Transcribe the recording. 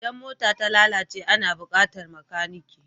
Idan mota ta lalace ana buƙatar makanike.